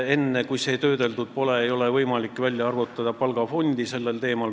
Enne, kui see info töödeldud pole, ei ole võimalik palgafondi välja arvutada.